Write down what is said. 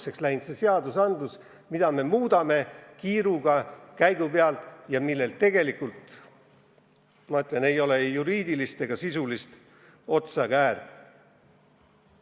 See seadusandlus on nii absurdseks läinud, me muudame seda kiiruga käigu pealt ja sel tegelikult, ma ütlen, pole ei juriidilist ega sisulist otsa ega äärt.